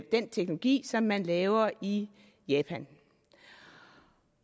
den teknologi som man laver i japan